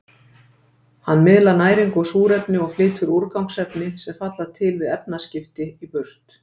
Hann miðlar næringu og súrefni og flytur úrgangsefni, sem falla til við efnaskipti, í burt.